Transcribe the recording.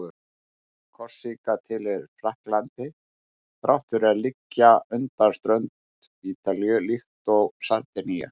Korsíka tilheyrir Frakklandi þrátt fyrir að liggja undan strönd Ítalíu, líkt og Sardinía.